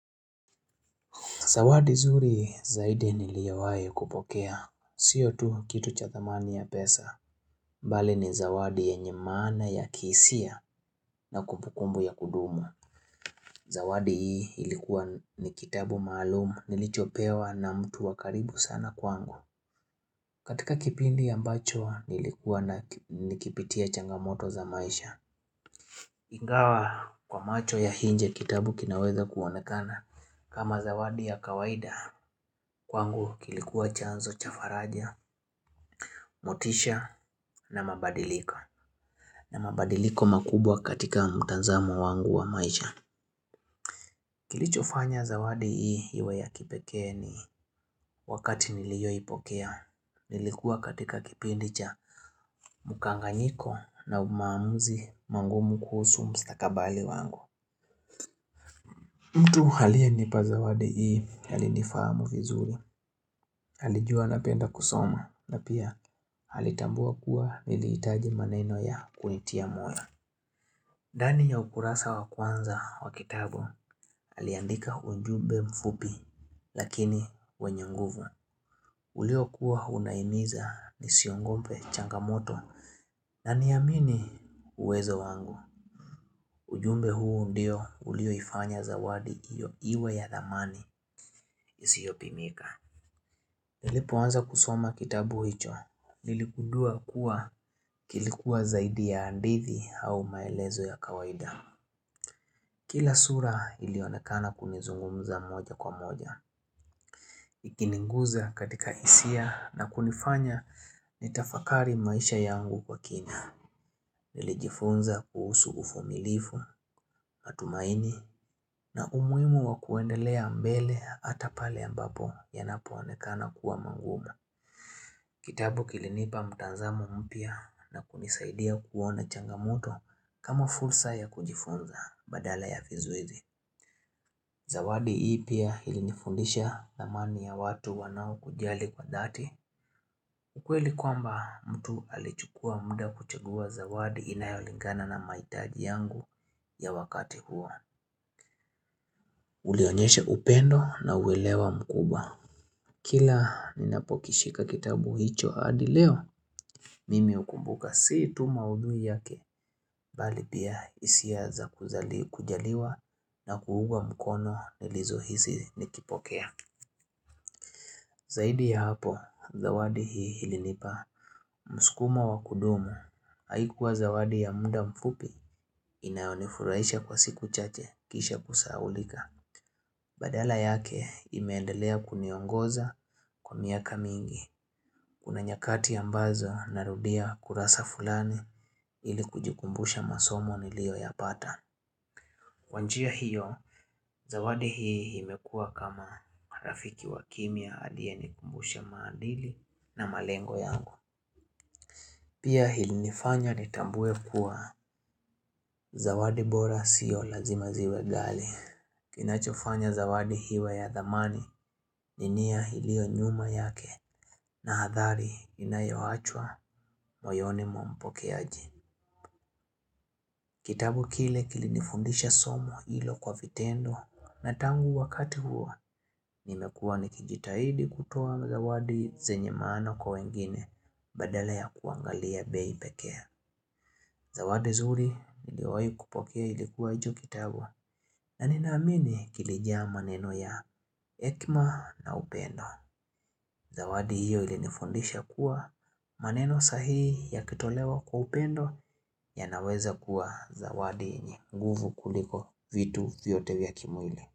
Zawadi zuri zaidi niliyowahi kupokea siyo tu kitu cha thamani ya pesa bali ni zawadi yenye maana ya kihisia na kupukumbu ya kudumu Zawadi hii ilikuwa ni kitabu maalum nilichopewa na mtu wa karibu sana kwangu. Katika kipindi ambacho nilikuwa na nikipitia changamoto za maisha. Ingawa kwa macho ya inje kitabu kinaweza kuonekana kama zawadi ya kawaida, kwangu kilikuwa chanzo cha faraja, motisha na mabadiliko na mabadiliko makubwa katika mtanzamo wangu wa maisha Kilichofanya zawadi hii iwe ya kipekee ni wakati niliyoipokea Nilikuwa katika kipindi cha mkanganyiko na umamuzi mangumu kuhusu mstakabali wangu mtu aliyenipa zawadi hii alinifahamu vizuri. Alijua napenda kusoma na pia alitambua kuwa niliitaji maneno ya kunitia moyo. Dani ya ukurasa wa kwanza wa kitabu aliandika unjube mfupi lakini wenye nguvu uliokuwa unahimiza nisiongope changamoto na niamini uwezo wangu ujumbe huu ndio uliyoifanya zawadi iyo iwe ya dhamani isiopimika Nilipoanza kusoma kitabu hicho Nilikundua kuwa kilikuwa zaidi ya andithi au maelezo ya kawaida Kila sura ilionekana kunizungumza moja kwa moja. Ikininguza katika hisia na kunifanya nitafakari maisha yangu kwa kina Nilijifunza kuhusu ufumilifu, matumaini na umuhimu wa kuendelea mbele ata pale ambapo yanapoanekana kuwa mangumu Kitabu kilinipa mtanzamo mpya na kunisaidia kuona changamoto kama fursa ya kujifunza badala ya vizuizi. Zawadi hii pia ilinifundisha thamani ya watu wanao kujali kwa dhati. Ukweli kwamba mtu alichukua mda kuchagua zawadi inayolingana na mahitaji yangu ya wakati huo Ulionyeshe upendo na uelewa mkubwa. Kila ninapokishika kitabu hicho hadi leo mimi ukumbuka si tu maudhui yake, bali pia hisia za kujaliwa na kuugwa mkono nilizohisi nikipokea. Zaidi ya hapo, zawadi hii ilinipa mskumo wa kudumu, haikuwa zawadi ya mda mfupi inayonifuraisha kwa siku chache kisha kusaulika badala yake imeendelea kuniongoza kwa miaka mingi Kuna nyakati ambazo narudia kurasa fulani ili kujikumbusha masomo nilioyapata. Kwa njia hiyo, zawadi hii imekua kama rafiki wa kimya aliye nikumbusha maadili na malengo yangu. Pia ilinifanya nitambue kuwa zawadi bora sio lazima ziwe ghali Kinachofanya zawadi iwe ya dhamani ni nia iliyo nyuma yake na athari inayoachwa moyoni mwa mpokeaji. Kitabu kile kilinifundisha somo hilo kwa vitendo na tangu wakati huo nimekuwa nikijitahidi kutoa zawadi zenye maana kwa wengine badala ya kuangalia bei pekee. Zawadi zuri niliyowahi kupokea ilikuwa ijo kitabu na ninaamini kilijaa maneno ya hekma na upendo. Zawadi hiyo ilinifundisha kuwa maneno sahii yakitolewa kwa upendo yanaweza kuwa zawadi yenye nguvu kuliko vitu vyote vya kimwili.